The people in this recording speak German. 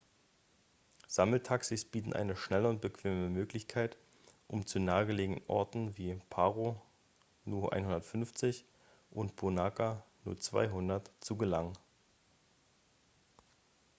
sammeltaxis bieten eine schnelle und bequeme möglichkeit um zu nahegelegenen orten wie paro nu 150 und punakha nu 200 zu gelangen